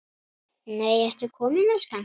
NEI, ERTU KOMIN, ELSKAN!